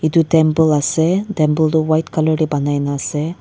etu temple ase temple tu white color de banai na ase.